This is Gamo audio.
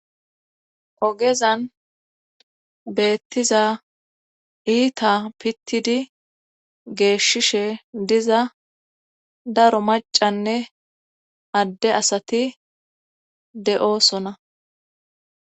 Kogezan beettiza iita pittidi geeshishe diza daro macanne adde asati de'osona